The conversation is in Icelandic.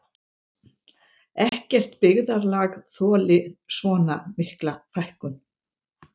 Ekkert byggðarlag þoli svona mikla fækkun